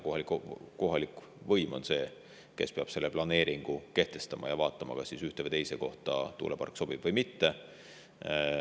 Kohalik võim on see, kes peab selle planeeringu kehtestama ja vaatama, kas ühte või teise kohta tuulepark sobib või mitte.